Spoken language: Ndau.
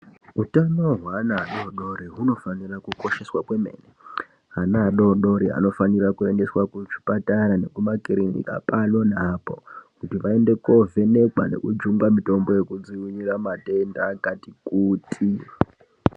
Utano hwevana vadodori hunofanira kukosheswa kwemene , ana adodori vanofanirwa kuendeswe kuzvipatara nekumakiriniki pano neapo, kuti vaende kovhenekwa nekujungwa mitombo yekudziirira matenda akati kuti.